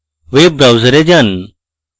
web browser যান